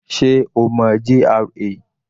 Sé o mọ GRA?